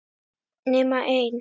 nema einn.